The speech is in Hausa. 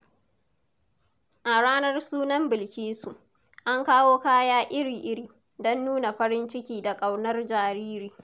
A ranar sunan Bilkisu, an kawo kaya iri-iri don nuna farin ciki da ƙaunar jariri.